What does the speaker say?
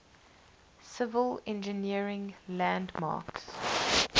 civil engineering landmarks